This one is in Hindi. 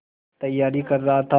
तैयारी कर रहा था